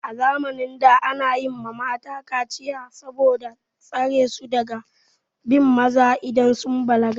A zamanin da ana yi ma mata kaciya saboda tsare su daga bin maza idan suka balaga.